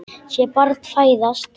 Sé barn fæðast.